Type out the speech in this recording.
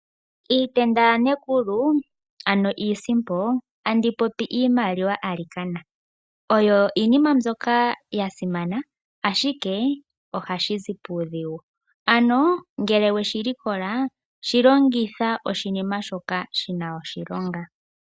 Iitenda yaNekulu, ano iisimpo, tandi popi iimaliwa alikana, oyo iinima mbyoka ya simana, ashike ohashi zi puudhigu. Ano ngele we shi likola shi longitha oshinima shoka shi na oshilonga.